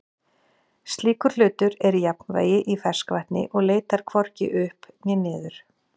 Slíkur hlutur er í jafnvægi í ferskvatni og leitar hvorki upp né niður.